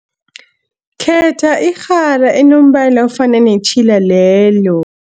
Khetha irhara enombala ofana netjhila lelo.